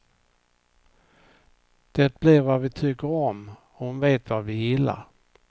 Det blir vad vi tycker om, hon vet vad vi gillar.